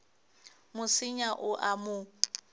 mo senya o a mo